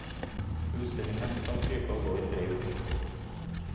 Utstillingen skal krype og gå i tre uker.